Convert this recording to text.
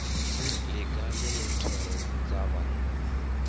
ḽiga ḽine thoro dza vha